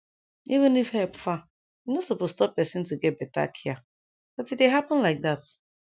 even if epp far e no suppose stop pesin to get beta care but e dey happen lyk dat